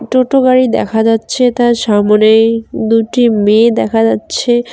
টোটো গাড়ি দেখা যাচ্ছে তার সামোনেই দুটি মেয়ে দেখা যাচ্ছে।